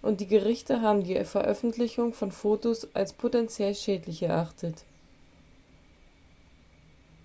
und die gerichte haben die veröffentlichung von fotos als potenziell schädlich erachtet